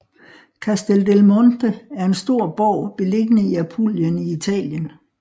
Castel del Monte er en stor borg beliggende i Apulien i Italien